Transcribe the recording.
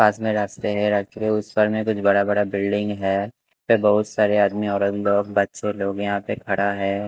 पास में रास्ते है रखे उस पर में कुछ बड़ा बड़ा बिल्डिंग है बहुत सारे आदमी और लोग बच्चे लोग यहां पे खड़ा है।